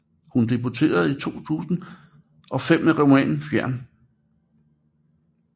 Hun debuterede i 2005 med romanen Fjern